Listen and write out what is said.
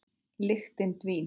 Lyktin dvín.